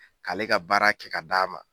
K'ale ka baara kɛ ka d'a ma.